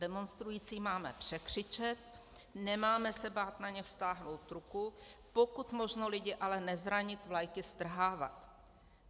Demonstrující máme překřičet, nemáme se bát na ně vztáhnout ruku, pokud možno ale lidi nezranit, vlajky strhávat.